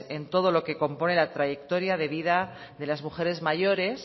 en todo lo que compone la trayectoria de vida de las mujeres mayores